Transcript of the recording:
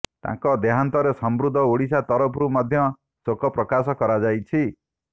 ତାଙ୍କ ଦେହାନ୍ତରେ ସମୃଦ୍ଧ ଓଡିଶା ତରଫରୁ ମଧ୍ୟ ଶୋକ ପ୍ରକାଶ କରାଯାଇଛି